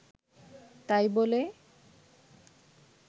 তাই বলে